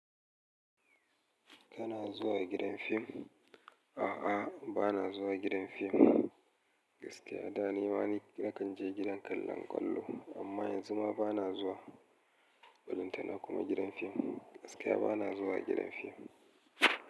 Kana zuwa gidan fim? A'a, ba na zuwa gidan fim. Gaskiya, da ni ma na nakan je gidan kallon ƙwallo, amma yanzu ma ba na zuwa. Balanta na kuma gidan fim. Gaskiya ba na zuwa gidan fim.